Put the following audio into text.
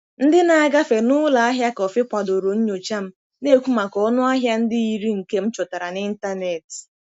Ndị na-agafe n'ụlọ ahịa kọfị kwadoro nyocha m, na-ekwu maka ọnụ ahịa ndị yiri nke m chọtara n'ịntanetị.